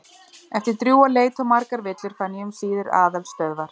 Eftir drjúga leit og margar villur fann ég um síðir aðalstöðvar